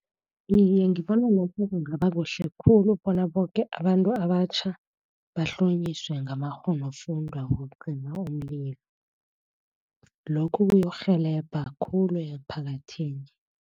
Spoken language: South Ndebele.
Iye, ngibona lokho kungaba kuhle khulu bona boke abantu abatjha bahlonyiswe ngamakghonofundwa wokucima umlilo. Lokhu kuyokurhelebha khulu emphakathini.